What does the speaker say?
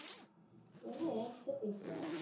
ஏன்னா என்கிட்ட பேசுற